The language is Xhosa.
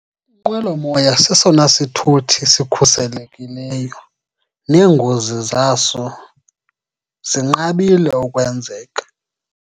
Inqwelomoya sesona sithuthi sikhuselekileyo, neengozi zaso zinqabile ukwenzeka.